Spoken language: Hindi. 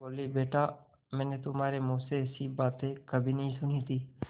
बोलीबेटा मैंने तुम्हारे मुँह से ऐसी बातें कभी नहीं सुनी थीं